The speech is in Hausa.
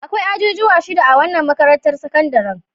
Akwai ajujuwa shida a wannan makarantar sakandare.